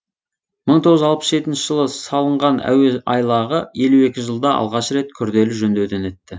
мың тоғыз жүз алпыс жетінші жылы салынған әуе айлағы елу екі жылда алғаш рет күрделі жөндеуден өтті